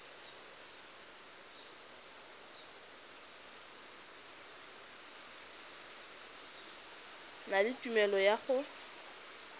na le tumelelo ya go